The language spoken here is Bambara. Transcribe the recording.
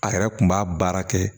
A yɛrɛ kun b'a baara kɛ